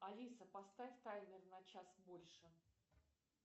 алиса поставь таймер на час больше